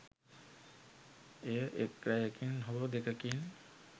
එය එක් රැයකින් හෝ දෙකකින්